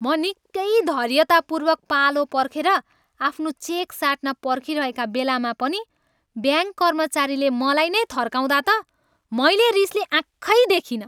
म निकै धैर्यतापूर्वक पालो पर्खेर आफ्नो चेक साट्न पर्खिरहेका बेलामा पनि ब्याङ्क कर्मचारीले मलाई नै थर्काउँदा त मैले रिसले आँखै देखिनँ।